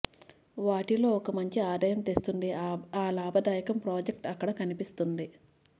వాటిలో ఒక మంచి ఆదాయం తెస్తుంది ఆ లాభదాయకం ప్రాజెక్ట్ అక్కడ కనిపిస్తుంది